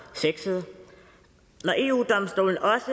sexet når eu domstolen også